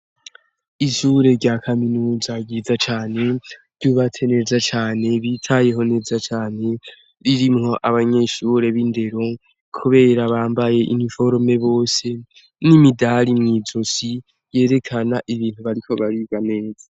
Ishure rya kaminuza ryiza cane ryubatse neza cane ryitayeho neza cane ririmwo abanyeshure bindero kubera bambaye uniforme bose nimidari mwizosi yerekana ko bariko biga neza